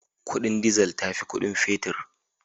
Kudin dizal ta fi kudin fetir